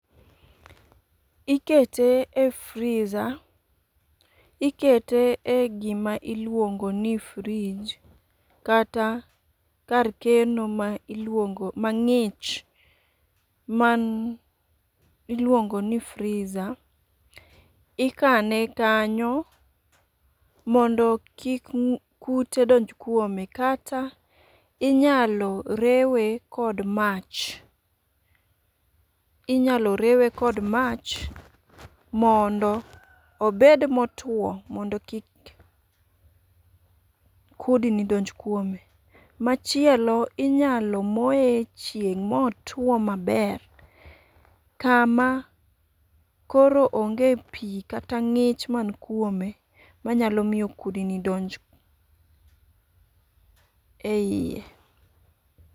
Ikete e freezer, ikete e gima iluongo ni fridge kata kar keno ma iluongo ma ng'ich man iluongo ni freezer. Ikane kanyo mondo kik kute donj kuome, kata inyalo rewe kod mach. Inyalo rewe kod mach mondo obed motwo mondo kik kudni donj kuome. Machielo inyalo moye e chieng' motwo maber, kama koro onge pi kata ng'ich man kuome manyalo iyo kudni donj e iye.